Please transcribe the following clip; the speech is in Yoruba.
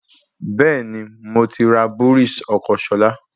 Bẹ́ẹ̀ni, moti rà bọ́rìs ọkọ́ Ṣọlá